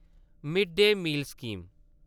mid day meal scheme